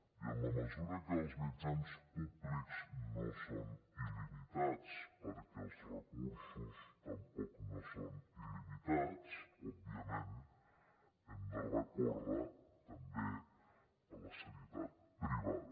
i en la mesura que els mitjans públics no són il·limitats perquè els recursos tampoc no són il·limitats òbviament hem de recórrer també a la sanitat privada